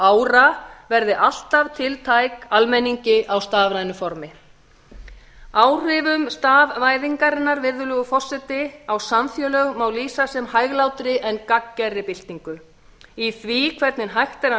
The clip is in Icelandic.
ára verði alltaf tiltæk almenningi á stafrænu formi áhrifum stafvæðingarinnar virðulegur forseti á samfélög má lýsa sem hæglátri en gagngerri byltingu í því hvernig hægt er að